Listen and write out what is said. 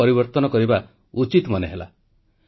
ମୋର ପ୍ରିୟ ଦେଶବାସୀ ନମସ୍କାର ଆଜି ଜାନୁଆରୀ 26 ତାରିଖ